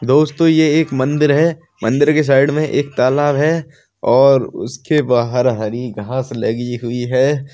दोस्तों ये एक मंदिर है। मंदिर के साइड में एक तालाब है। और उसके बाहर हरी घास लगी हुई है।